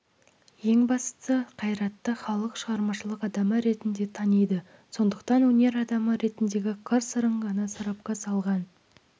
ең бастысы қайратты халық шығармашылық адамы ретінде таниды сондықтан өнер адамы ретіндегі қыр-сырын ғана сарапқа салған